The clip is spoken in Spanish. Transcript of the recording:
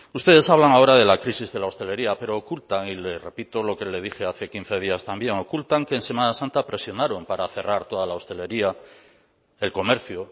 ustedes hablan ahora de la crisis de la hostelería pero ocultan y le repito lo que le dije hace quince días también ocultan que en semana santa presionaron para cerrar toda la hostelería el comercio